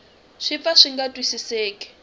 swi pfa swi nga twisiseki